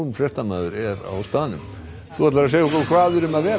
fréttamaður er á staðnum hvað er um að vera